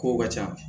Kow ka ca